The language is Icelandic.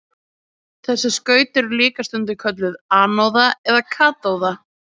þessi skaut eru líka stundum kölluð anóða og katóða